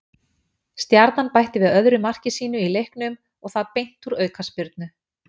Stjarnan bætti við öðru marki sínu í leiknum og það beint úr aukaspyrnu.